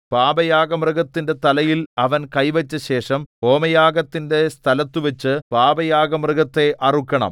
പാപയാഗമൃഗത്തിന്റെ തലയിൽ അവൻ കൈവച്ചശേഷം ഹോമയാഗത്തിന്റെ സ്ഥലത്തുവച്ചു പാപയാഗമൃഗത്തെ അറുക്കണം